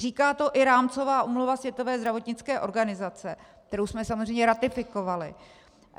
Říká to i rámcová úmluva Světové zdravotnické organizace, kterou jsme samozřejmě ratifikovali.